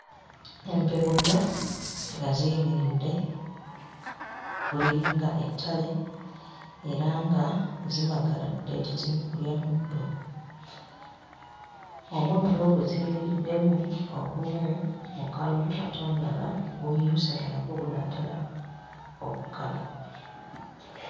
Empeewo nnya nga ziyimiridde ku liringa ettale era nga zimagaladde teziri mu kulya muddo. Omuddo gwe ziyimiriddemu ogumu mukalu ate omulala gumyuse nga nagwo gunaatera okukala.